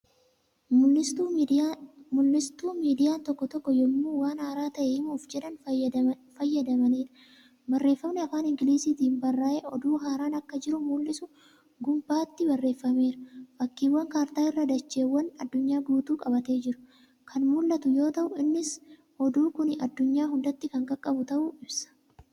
Mul'istuu miidiyaalen tokko tokko yemmuu waan haaraa ta'e himuuf jedhan fayyadamaniidha. barreeffamni afaan ingiliiziitiin barraa'e oduu haaraan Akka jiru mul'isu gunbaatti barreeffameera. fakkiiwwan kaartaa dacheewwan addunyaa guutuu qabatee jiru Kan mul'atu yoo ta'u innis oduu Kuni addunyaa hundatti Kan qaqqabu ta'uu ibsa.